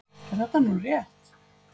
Er þetta nú rétt?